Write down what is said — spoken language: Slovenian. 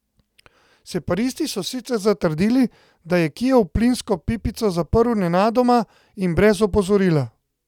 Separatisti so sicer zatrdili, da je Kijev plinsko pipico zaprl nenadoma in brez opozorila.